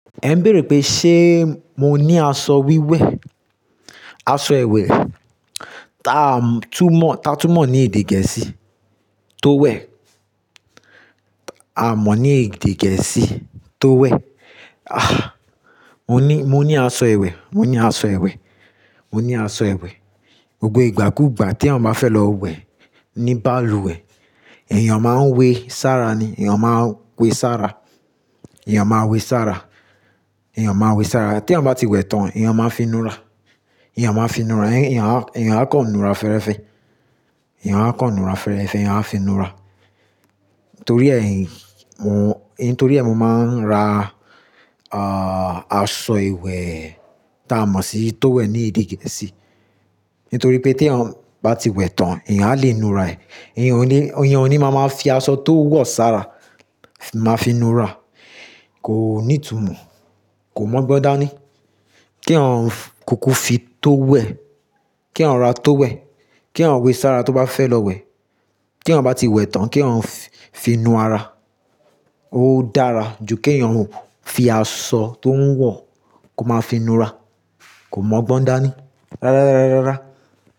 Ẹ ń bèèrè pé ṣé mo ní aṣọ wíwẹ̀, aṣọ ìwẹ̀ ta túmọ̀, ta túmọ̀ ní èdè gẹ̀ẹ́sì tó wẹ̀, a mọ̀ ní èdè gẹ̀ẹ́sì tó wẹ̀. Ah! Mo ní, mo ní aṣọ ìwẹ̀, mo ní aṣọ ìwẹ̀, mo ní aṣọ ìwẹ̀. Gbogbo ìgbàkúgbà tí eyan bá fẹ́ lọ wẹ̀ ni balùwẹ̀. Ẹ̀yàn máa ń wé sára ni, ẹ̀yàn máa ń we sára, ẹ̀yàn máa we sára, ẹ̀yàn máa we sára. Tí àwọn bá ti wẹ̀ tán, ẹ̀yàn máa finura, ẹ̀yàn máa finura, ẹ̀yàn á kàn nura fẹ́ẹ́rẹ́fẹ́, ẹ̀yàn á kàn nura fẹ́ẹ́rẹ́fẹ́, ẹ̀yàn á finura. Nítorí ẹ́, nítorí ẹ́ mo máa ń ra, ààh, aṣọ ìwẹ̀ tá a mọ̀ sí tówẹ̀l ní èdè gẹ̀ẹ́sì. Nítorí pé tí àwọn bá ti wẹ̀ tán, ẹ̀yàn á lè nura ẹ̀. Ẹ̀yàn ò ní, ẹ̀yàn ò ní máa máa fi aṣọ tó wọ̀ sára máa finura. Kò ní ìtumọ̀, kò mọ́ gbọ́n dáa ni. Kí'yan kúkú fi tó wẹ̀, kí'yan ra tó wẹ̀, kí'yan we sára tó bá fẹ́ lọ wẹ̀, kí'yan bá ti wẹ̀ tán, kí wọ́n fi inú ara. Ó dára ju kí ẹ̀yàn fi aṣọ tó ń wọ̀ kó máa finura. Kò mọ́ gbọ́n dáa ni. Rárá, rárá, rárá.